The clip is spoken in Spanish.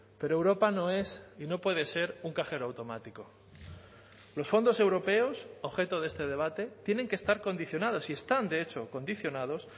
pero europa no es y no puede ser un cajero automático los fondos europeos objeto de este debate tienen que estar condicionados y están de hecho condicionados